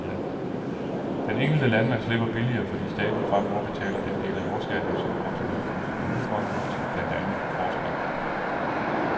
Den enkelte landmand slipper billigere, fordi staten fremover betaler den del af jordskatten, som går til landbrugets promillefonde til blandt andet forskning.